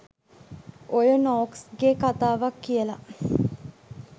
ඔය නොක්ස් ගෙ කතාවක් කියල